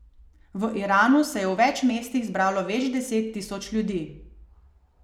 V Iranu se je v več mestih zbralo več deset tisoč ljudi.